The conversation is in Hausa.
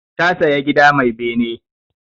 Ta saya gida mai bene.